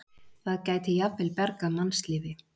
Það gæti jafnvel bjargað mannslífi.